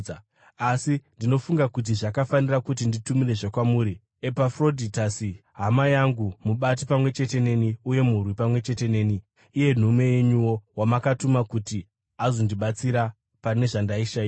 Asi ndinofunga kuti zvakafanira kuti nditumirezve kwamuri Epafrodhitasi, hama yangu, mubati pamwe chete neni uye murwi pamwe chete neni, iye nhume yenyuwo, wamakatuma kuti azondibatsira pane zvandaishayiwa.